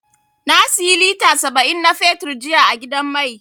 Na siyi lita saba'in na fetur jiya a gidan mai.